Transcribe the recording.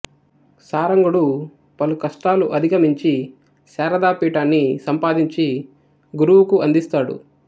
సారంగుడు పలు కష్టాలు అధిగమించి శారదా పీఠాన్ని సంపాదించి గురువుకు అందిస్తాడు